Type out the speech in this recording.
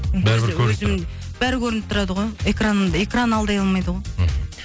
бәрібір көрініп тұрады бәрі көрініп тұрады ғой экран экран алдай алмайды ғой мхм